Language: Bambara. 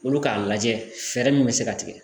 Olu k'a lajɛ fɛɛrɛ min bɛ se ka tigɛ